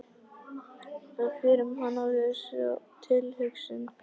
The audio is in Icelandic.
Það fer um hana við þessa tilhugsun.